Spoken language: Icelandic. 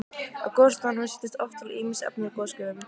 Á gosstöðvunum setjast oft til ýmis efni úr gosgufunum.